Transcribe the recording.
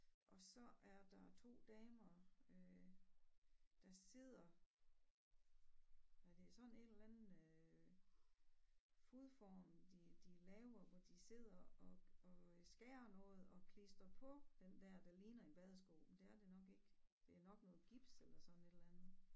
Og så er der 2 damer øh der sidder hvad er det sådan en eller anden øh fodform de de laver hvor de sidder og og øh skærer noget og klistrer på den dér der ligner en badesko men det er det nok ikke det er nok noget gips eller sådan et eller andet